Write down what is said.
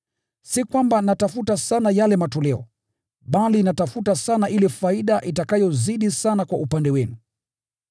Si kwamba natafuta sana yale matoleo, bali natafuta sana ile faida itakayozidi sana kwa upande wenu.